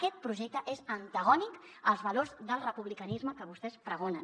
aquest projecte és antagònic als valors del republicanisme que vostès pregonen